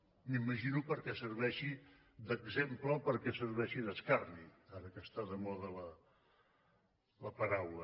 m’imagino perquè serveixi d’exemple o perquè serveixi d’escarni ara que està de moda la paraula